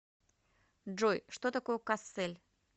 джой что такое кассель